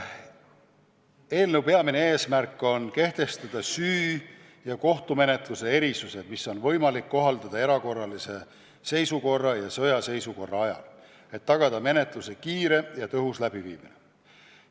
Eelnõu peamine eesmärk on kehtestada süü- ja kohtumenetluse erisused, mida on võimalik kohaldada erakorralise seisukorra ja sõjaseisukorra ajal, et tagada menetluse kiire ja tõhus läbiviimine.